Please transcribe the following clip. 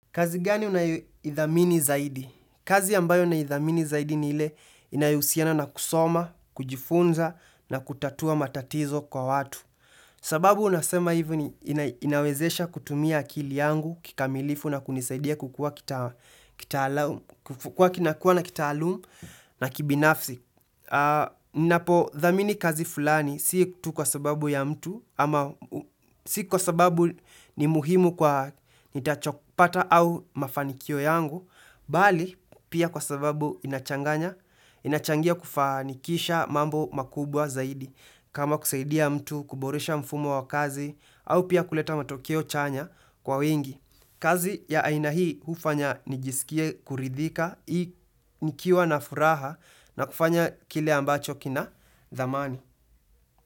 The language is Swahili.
Kazi gani unayoidhamini zaidi? Kazi ambayo naidhamini zaidi ni ile inayohusiana na kusoma, kujifunza na kutatua matatizo kwa watu. Sababu nasema hivi ni inawezesha kutumia akili yangu, kikamilifu na kunisaidia kukua kinakua na kitaalum na kibinafsi. Ninapo dhamini kazi fulani sii tu kwa sababu ya mtu ama sii kwa sababu ni muhimu kwa nitachopata au mafanikio yangu, bali pia kwa sababu inachangia kufanikisha mambo makubwa zaidi kama kusaidia mtu, kuboresha mfumo wa kazi au pia kuleta matokio chanya kwa wengi. Kazi ya aina hii huu fanya nijisikie kuridhika, nikiwa na furaha na kufanya kile ambacho kina dhamani.